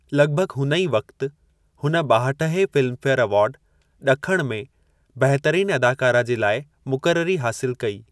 लग॒भग॒ हुन ई वक़्ति, हुन ॿाहठहें फ़िल्मफ़ेयर अवार्ड (ॾखण) में बहतरीनु अदाकारा जे लाइ मुकररी हासिलु कई।